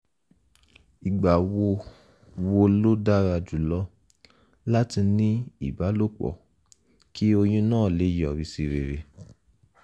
ìgbà wo wo ló dára jùlọ láti ní ìbálòpọ̀ kí oyún náà lè yọrí sí rere?